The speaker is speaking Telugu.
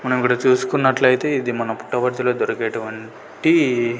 మనం గుడా చూసుకున్నట్లయితే ఇది మన పుట్టవర్తుల దొరికేటువంటి--